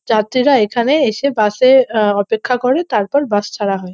যাত্রীরা এখানে এসে বাস -এ আহ অপেক্ষা করে তারপর বাস ছাড়া হয়।